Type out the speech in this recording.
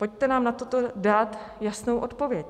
Pojďte nám na toto dát jasnou odpověď.